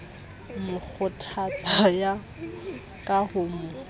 mo kgothatsa ka ho mo